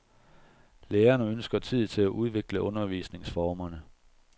Lærerne ønsker tid til at udvikle undervisningsformerne.